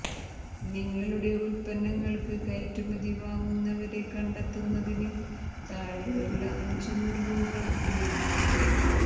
നിങ്ങളുടെ ഉൽപ്പന്നങ്ങൾക്ക് കയറ്റുമതി വാങ്ങുന്നവരെ കണ്ടെത്തുന്നതിന് താഴെയുള്ള അഞ്ച് നുറുങ്ങുകൾ ഉപയോഗിക്കുക